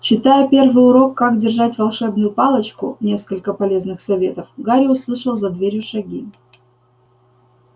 читая первый урок как держать волшебную палочку несколько полезных советов гарри услыхал за дверью шаги